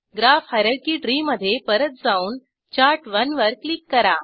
graph hierarchy tree मधे परत जाऊन चार्ट1 वर क्लिक करा